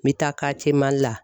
N mi taa la